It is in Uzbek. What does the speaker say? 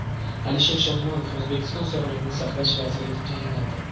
Alisher Shodmonov O‘zbekiston Sog‘liqni saqlash vaziri etib tayinlandi .